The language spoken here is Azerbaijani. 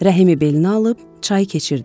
Rəhimi belinə alıb çayı keçirdi.